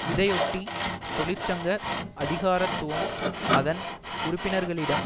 இதையொட்டி தொழிற்சங்க அதிகாரத்துவம் அதன் உறுப்பினர்களிடம்